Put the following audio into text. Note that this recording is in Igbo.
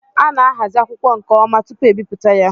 A ná-ahazi akwụkwọ nke ọma tupu ebipụta ya